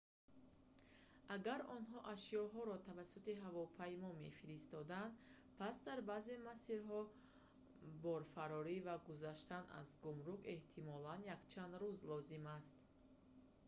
агар онҳо ашёҳояшонро тавассути ҳавопаймо мефиристоданд пас дар баъзе масирҳо борфарорӣ ва гузаштан аз гумрук эҳтимолан якчанд рӯз лозим аст